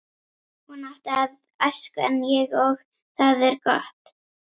Hún átti aðra æsku en ég og það er gott.